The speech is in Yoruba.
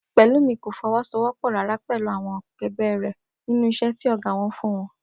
Pè̩lúmi kò fo̩wó̩sowó̩pò̩ rárá pè̩lú àwo̩n ake̩gbé̩ rè̩ nínú is̩é̩ tí ò̩gá wo̩n fún wo̩n